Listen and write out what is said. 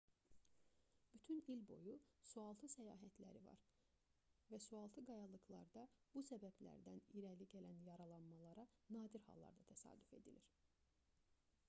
bütün il boyu sualtı səyahətləri var və sualtı qayalıqlarda bu səbəblərdən irəli gələn yaralanmalara nadir hallarda təsadüf edilir